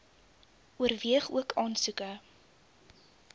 oorweeg ook aansoeke